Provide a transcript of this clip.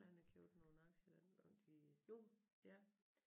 Han har købt nogle aktier dengang til Jon ja